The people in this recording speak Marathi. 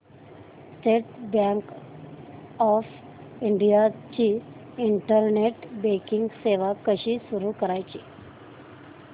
स्टेट बँक ऑफ इंडिया ची इंटरनेट बँकिंग सेवा कशी सुरू करायची